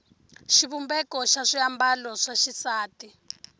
xivumbeko xa swiambalo swa xisati